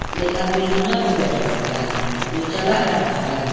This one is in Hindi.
एक आदमी लूना पे बैठा हुआ है जो चला रहा है।